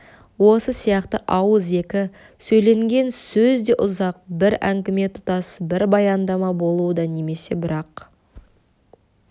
осы сияқты ауызекі сөйленген сөз де ұзақ бір әңгіме тұтас бір баяндама болуы да немесе бір-ақ